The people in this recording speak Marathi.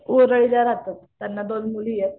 वरळीला रहातात त्यांना दोन मुली आहेत.